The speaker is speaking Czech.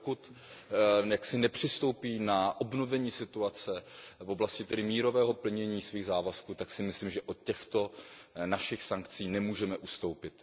Dokud nepřistoupí na obnovení situace v oblasti mírového plnění svých závazků, tak si myslím, že od těchto našich sankcí nemůžeme ustoupit.